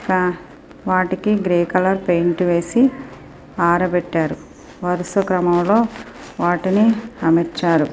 ఒక వాటికి grey colour paint వేసి ఆరబెట్టారు వరుసక్రమంలోవాటిని అమర్చారు.